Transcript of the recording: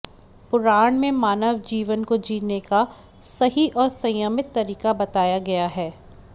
पुराण में मानव जीवन को जीने का सही और संयमित तरीका बताया गया है